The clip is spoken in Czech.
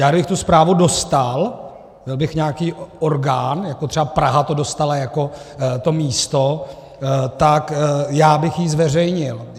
Já kdybych tu zprávu dostal, byl bych nějaký orgán, jako třeba Praha to dostala jako to místo, tak já bych ji zveřejnil.